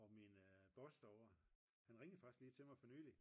og min boss derovre han ringede faktisk til mig her for nyligt